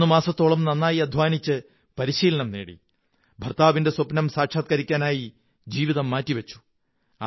11 മാസത്തോളം നന്നായി അധ്വാനിച്ച് പരിശീലനം നേടി ഭര്ത്തായവിന്റെ സ്വപ്നം സാക്ഷാത്കരിക്കാനായി ജീവിതം മാറ്റിവച്ചു